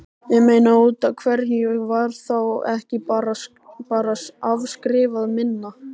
Ég meina, útaf hverju var þá ekki bara afskrifað minna?